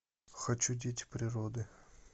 хочу дети природы